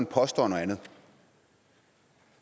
påstår noget andet